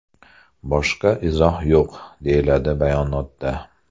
Boshqa izoh yo‘q”, deyiladi bayonotda.